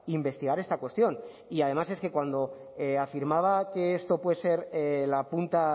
investigar esta cuestión y además es que cuando afirmaba que esto puede ser la punta